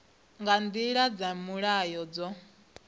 nga nḓila dza mulayo dzo